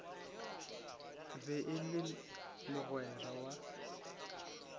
be e le mogwera wa